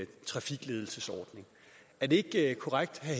trafikledelsesordning er det ikke korrekt at